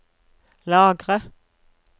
lagre